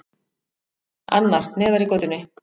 Annar, neðar í götunni.